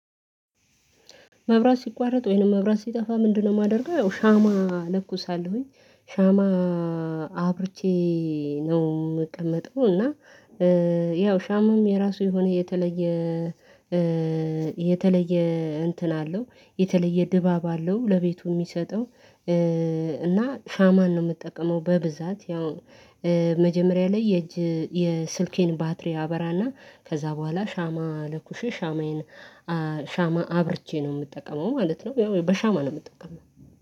መብራት ሲቋረጥ፤ ወይንም መብራት ሲጠፋ፤ ምንድነው የማደርገው ያው ሻማ ለኩሳለሁኝ። ሻማ አብርቼ ነው የምቀመጠው፤ እና ያው ሻማም የራሱ የሆነ የተለየ፤ የተለየ እንትን አለው የተለየ ድባብ አለው ለቤቱ የሚሰጠው እና ሻማን ነው የምጠቀመው በብዛት። ያው መጀመሪያ ላይ የእጅ የስልኬን ባትሪ አበራና ከዛ በኋላ ሻማ ለኩሼ ሻማዬን ሻማ አብርቼ ነው የምጠቀመው ማለት ነው። ያው በሻማ ነው የምጠቀመው።